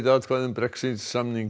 atkvæði um Brexit samning